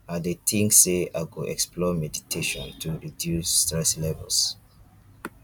i dey think say i go explore meditation to reduce stress levels